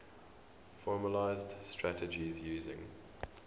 formalised strategies using